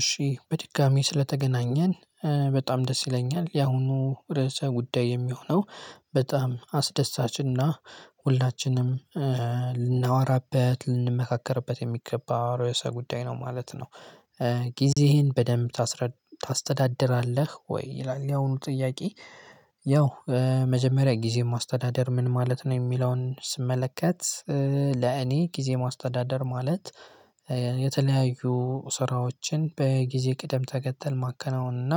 እሺ በድጋሚ ስለተገናኘን በጣም ደስ ይለኛል ያሁኑ ርዕሰ ጉዳይ የሚሆነው በጣም አስደሳች እና ሁላችንም ልናወራበት ልንመካከርበት የሚገባ ርዕሰ ጉዳይ ነው ማለት ነው። ጊዜህን በደንብ ታስረድ ታስተዳድራለህ ወይ ይላል ያሁኑ ጥያቄ? ያው መጀመሪያ ጊዜን ማስተዳደር ምን ማለት ነው የሚለውን ስመለከት። ለእኔ ጊዜ ማስተዳደር ማለት የተለያዩ ስራዎችን በጊዜ ቅደም ተከተል ማከናወን እና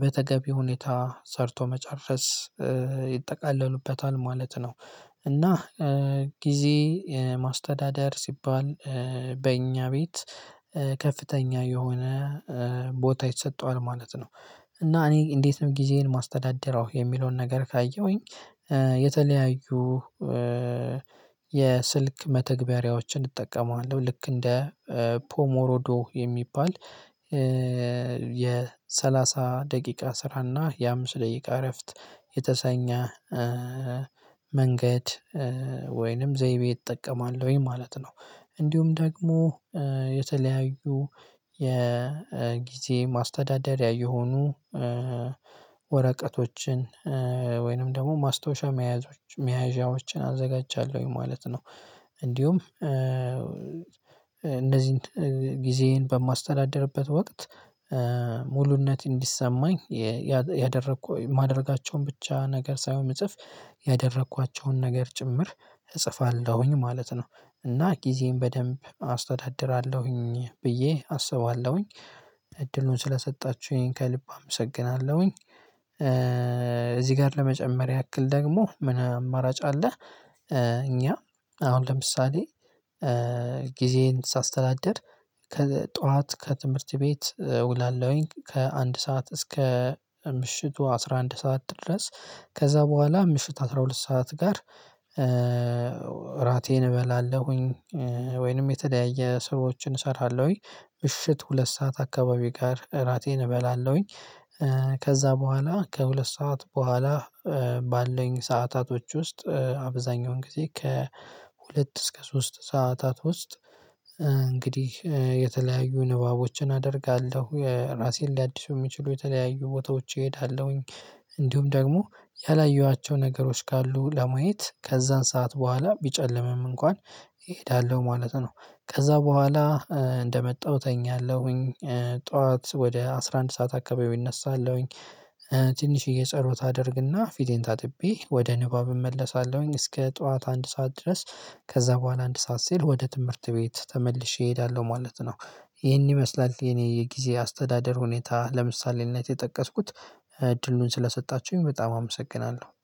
በተገቢ ሁኔታ ሰርቶ መጨረስ ይጠቃለሉበታል ማለት ነው። እና ጊዜ ማስተዳደር ሲባል በእኛ ቤት ከፍተኛ የሆነ ቦታ ይሰጠዋል ማለት ነው። እና እኔ እንዴት ነው ጊዜዬን ማስተዳድረው የሚለውን ነገር ካየሁኝ። የተለያዩ የስልክ መተግበሪያዎችን እንጠቀመዋለው ልክ እንደ ፖሞሮዶ የሚባል የሰላሳ ደቂቃ ስራና የአምስት ደቂቃ እረፍት የተሰኘ መንገድ ወይንም ዘይቤ እጠቀማለሁኝ ማለት ነው። እንዲሁም ደግሞ የተለያዩ የጊዜ ማስተዳደሪያ የሆኑ ወረቀቶችን ወይንም ደግሞ ማስታወሻ መያዣዎችን አዘጋጃለሁኝ ማለት ነው። እንዲሁም እነዚን ጊዜዬን በማስተዳድርበት ወቅት ሙሉነት እንዲሰማኝ ያደረኩ ማደርጋቸውን ብቻ ነገር ሳይሆን እጽፍ ያደረኳቸውን ነገር ጭምር እጽፋለሁኝ ማለት ነው። እና ጊዜዬን በደንብ አስተዳድራለሁኝ ብዬ አስባለሁኝ እድሉን ስለሰጣችሁኝ ከልብ አመሰግናለሁኝ። እዚህ ጋር ለመጨመር ያክል ደግሞ ምን አማራጭ አለ? እኛ አሁን ለምሳሌ ጊዜዬን ሳስተዳድር ከጧት ከትምህርት ቤት ውላለውኝ። ከአንድ ሰዓት እስከ ምሽቱ አስራ አንድ ሰዓት ድረስ ከዛ በኋላ ምሽት አስራ ሁለት ሰዓት ጋር። ራቴን እበላለሁኝ ወይንም የተለያየ ስራዎችን እሰራለሁኝ ምሽት ሁለት ሰዓት አካባቢ ጋር እራቴን እበላለሁኝ። ከዛ በኋላ ከሁለት ሰዓት በኋላ ባለኝ ሰዓታቶች ውስጥ አብዛኛውን ጊዜ ከሁለት እስከ ሶስት ሰዓታት ውስጥ። እንግዲህ የተለያዩ ንባቦችን አደርጋለሁ ራሴን ሊያድሱ የሚችሉ የተለያዩ ቦታዎች እሄዳለሁኝ። እንዲሁም ደግሞ ያላየኋቸው ነገሮች ካሉ ለማየት ከዛን ሰዓት በኋላ ቢጨልምም እንኳን እሄዳለሁ ማለት ነው። ከዛ በኋላ እንደመጣሁ እተኛለሁኝ። ጠዋት ወደ አስራ አንድ ሰዓት አካባቢ እነሳለሁኝ። ትንሽዬ ጸሎት አደርግና ፊቴን ታጥቤ ወደ ንባብ እመለሳለሁኝ እስከ ጠዋት አንድ ሰዓት ድረስ። ከዛ በኋላ አንድ ሰዓት ሲል ወደ ትምህርት ቤት ተመልሼ እሄዳለሁ ማለት ነው። ይሄን ይመስላል የኔ የጊዜ አስተዳደር ሁኔታ ለምሳሌነት የጠቀስኩት እድሉን ስለሰጣችሁኝ በጣም አመሰግናለሁ